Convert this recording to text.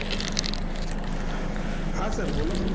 હાં sir બોલો.